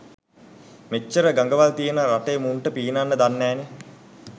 මෙච්චර ගඟවල් තියෙන රටේ මුන්ට පීනන්න දන්නෑනේ.